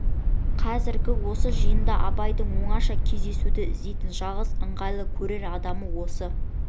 қазіргі осы жиында абайдың оңаша кездесуді іздейтін жалғыз ыңғайлы көрер адамы осы